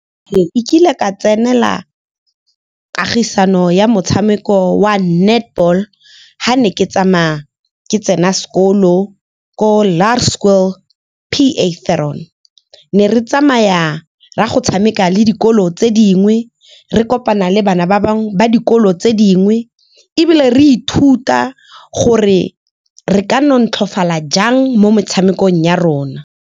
E kile ka tsenela kagisano ya motshameko wa netball ha ne ke tsamaya ke tsena sekolo ko Laer Skool P _A Theron. Ne re tsamaya ra go tshameka le dikolo tse dingwe re kopana le bana ba bangwe ba dikolo tse dingwe, ebile re ithuta gore re ka jang mo metshamekong ya rona.